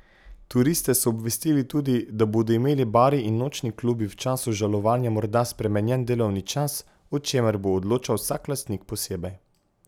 Turiste so obvestili tudi, da bodo imeli bari in nočni klubi v času žalovanja morda spremenjen delovni čas, o čemer bo odločal vsak lastnik posebej.